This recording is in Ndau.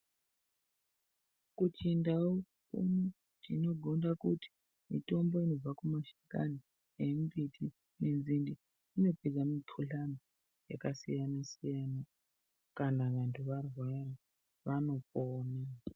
Kuchindau tinogonda kuti mitombo inobva kumashakani nenzinde inopedza mikhuhlani yakasiyana siyana kana vanhu varwara vanopona.